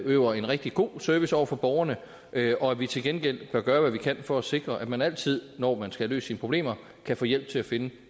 udøver en rigtig god service over for borgerne og at vi til gengæld bør gøre hvad vi kan for at sikre at man altid når man skal have løst sine problemer kan få hjælp til at finde